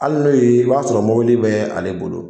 ali n'oy'i i b'a sɔrɔ mɔbili be ale tigi bolo